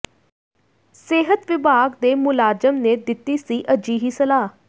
ਸਿਹਤ ਵਿਭਾਗ ਦੇ ਮੁਲਾਜ਼ਮ ਨੇ ਦਿੱਤੀ ਸੀ ਅਜਿਹੀ ਸਲਾਹ